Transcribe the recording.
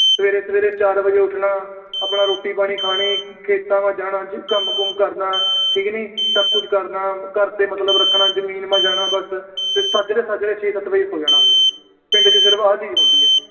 ਸਵੇਰੇ-ਸਵੇਰੇ ਚਾਰ ਵਜੇ ਉਠਣਾ, ਆਪਣਾ ਰੋਟੀ ਪਾਣੀ ਖਾਣੀ। ਖੇਤਾਂ ਵੱਲ ਜਾਣਾ, ਕੰਮ-ਕੂੰਮ ਕਰਨਾ, ਠੀਕ ਨੀ। ਸਭ ਕੁਛ ਕਰਨਾ, ਘਰ ਤੇ ਮਤਲਬ ਰੱਖਣਾ, ਜਮੀਨ ਤੇ ਜਾਣਾ ਬਸ, ਸਾਜਰੇ-ਸਾਜਰੇ ਛੇ-ਸੱਤ ਵਜੇ ਸੌ ਜਾਣਾ। ਪਿੰਡ ਚ ਸਿਰਫ ਆ ਚੀਜ ਹੁੰਦੀ ਆ।